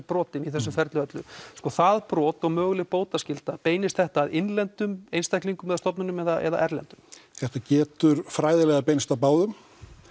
brotin í þessu ferli öllu það brot og möguleg bótaskylda beinist þetta að innlendum einstaklingum og stofnunum eða erlendum þetta getur fræðilega beinst að báðum